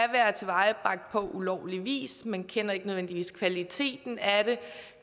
tilvejebragt på ulovlig vis man kender ikke nødvendigvis kvaliteten af det